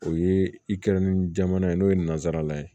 O ye i kɛra ni jamana ye n'o ye nansara ye